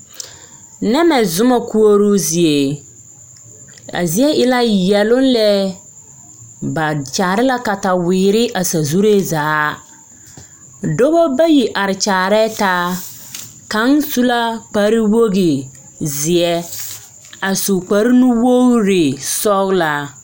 Nɛmɛ zoma koɔrɔ zie a zie e la yɛloŋ lɛ ba kyaare la kataweere a sazuree zaa dɔba bayi a are kyaarɛɛ taa kaŋ su la kparewogi zeɛ a su kparenuwogri sɔglaa.